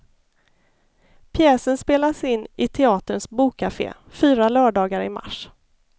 Pjäsen spelas i teaterns bokkafé fyra lördagar i mars.